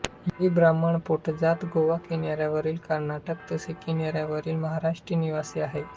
ही ब्राह्मण पोटजात गोवा किनाऱ्यावरील कर्नाटक तसेच किनाऱ्यावरील महाराष्ट्राची निवासी आहे